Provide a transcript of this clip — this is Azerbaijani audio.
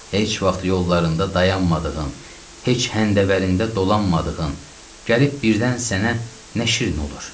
Heç vaxt yollarında dayanmadığın, heç həndəvərində dolanmadığın, gəlib birdən sənə nə şirin olur.